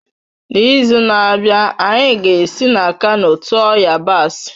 N'izu na-abịa, anyị ga-esi na Kano tụọ yabasị